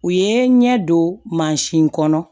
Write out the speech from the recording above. U ye n ɲɛ don kɔnɔ